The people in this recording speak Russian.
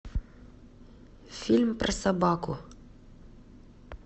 фильм про собаку